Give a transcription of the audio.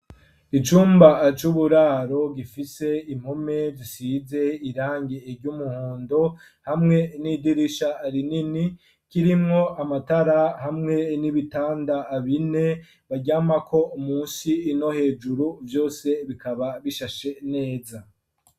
Icumba c'uburaro gifise impome zisize irange ry'umuhondo hamwe n'idirisha rinini kirimwo amatara hamwe n'ibitanda bine baryamako umwe munsi uwundi hejuru vyose bikaba bishashe neza.